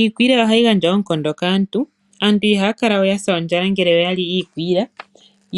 Iikwiila ohayi gandja oonkondo kaantu, aantu ihaya kala yasa ondjala ngele yali iikwiila